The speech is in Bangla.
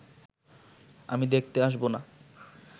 আমি দেখতে আসব না